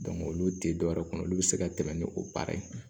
olu tɛ dɔwɛrɛ kɔnɔ olu bɛ se ka tɛmɛ ni o baara ye